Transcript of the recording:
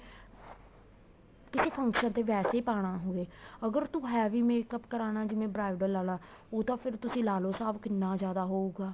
ਕਿਸੇ function ਤੇ ਵੈਸੇ ਹੀ ਪਾਣਾ ਹੋਵੇ ਅਗਰ ਤੂੰ heavy makeup ਕਰਾਨਾ ਜਿਵੇਂ bridal ਆਲਾ ਉਹ ਤਾਂ ਤੁਸੀਂ ਲਾਲੋ ਹਿਸਾਬ ਕਿੰਨਾ ਜਿਆਦਾ ਹਉਗਾ